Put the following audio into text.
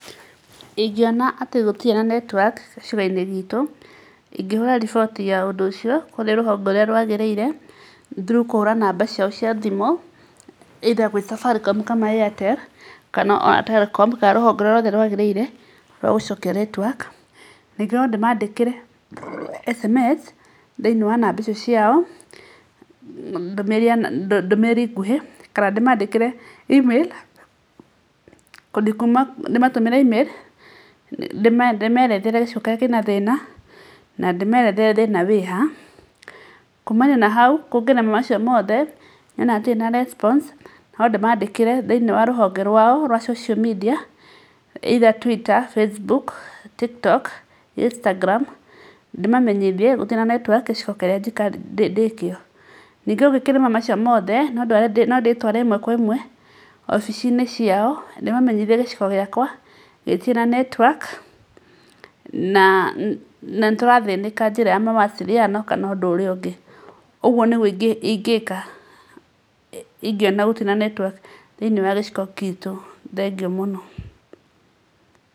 Ingĩona atĩ gũtirĩ na network gĩcigo-inĩ gitũ, ingĩhũra riboti ya ũndũ ũcio kurĩ rũhonge rũrĩa rwagĩrĩire through kũhũra namba ciao cia thimũ either kwĩ Safaricom kana Airtel kana ona Telecom, kana rũhonge o rũrĩa rwagĩrĩire rwa gũcokia network. Ningĩ no ndĩmandĩkĩre SMS thĩ-inĩ wa namba icio ciao ndũmĩrĩri nguhĩ, kana ndĩmandĩkĩre Email, ndĩmatũmĩre Email ndĩmerethere gĩcigo kĩrĩa kĩ na thĩna, na ndĩmerethere thĩna wĩha. Kumania na hau kũngĩrema macio mothe nyone hatirĩ na response, no ndĩmandĩkĩre thĩ-inĩ wa rũhonge rwao rwa social media, either Twitter, Facebook, Tiktok, Instagram, ndĩmamenyithie gũtirĩ na network gĩcigo kĩrĩa ndĩ kĩo. Ningĩ ũngĩkĩremwo macio mothe, no ndĩtware ĩmwe kwa ĩmwe wobici-inĩ ciao ndĩmamenyithie gĩcigo gĩakwa gĩtirĩ na network, na nĩtũrathĩnĩka njĩra ya mawasiliano kana ũndũ ũrĩa ũngĩ. Ũguo nĩguo ingĩka ingĩona gũtirĩ na network thĩinĩ wa gĩcigo gitũ. Thengiũ mũno.